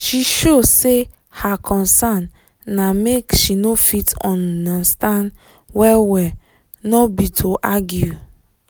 she show say her concern na make she for fit undnerstand well well nor be to argue